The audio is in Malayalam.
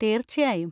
തീർച്ചയായും.